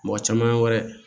Mɔgɔ caman ye wɛrɛ